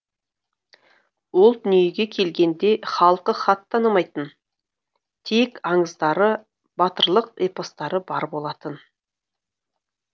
ол дүниеге келгенде халқы хат танымайтын тек аңыздары батырлық эпостары бар болатын